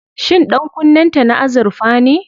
Shin ɗankunnen ta na azurfa ne?